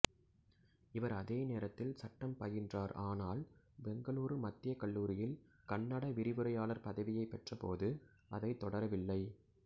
இவர் அதே நேரத்தில் சட்டம் பயின்றார் ஆனால் பெங்களூரு மத்திய கல்லூரியில் கன்னட விரிவுரையாளர் பதவியைப் பெற்றபோது அதைத் தொடரவில்லை